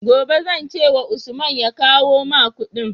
Gobe zan ce wa Usman ya kawo ma Ƙudin?